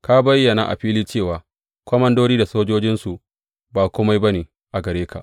Ka bayyana a fili cewa komandodi da sojojinsu ba kome ba ne a gare ka.